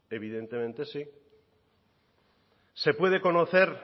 evidentemente sí se puede conocer